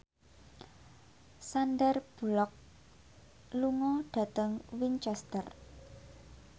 Sandar Bullock lunga dhateng Winchester